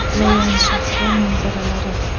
Loyan shahri manzaralari.